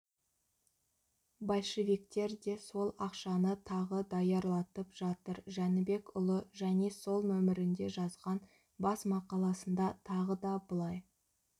большевиктер де сол ақшаны тағы даярлатып жатыр жәнібекұлы және сол нөмірінде жазған басмақаласында тағы да былай